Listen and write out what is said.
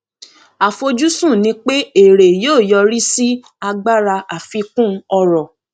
àfojúsùn ni pé èrè yóò yọrí sí agbára àfikún ọrọ